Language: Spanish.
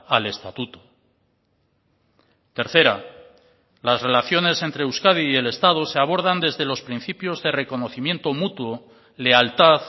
al estatuto tercera las relaciones entre euskadi y el estado se abordan desde los principios de reconocimiento mutuo lealtad